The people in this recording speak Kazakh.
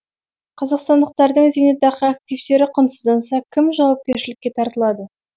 қазақстандықтардың зейнетақы активтері құнсызданса кім жауапкершілікке тартылады